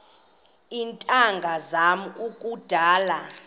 iintanga zam kudala